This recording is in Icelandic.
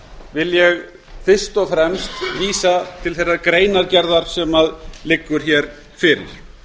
vil ég fyrst og fremst vísa til þeirrar greinargerðar sem liggur fyrir